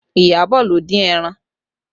Iyabọ̀ ló dín ẹran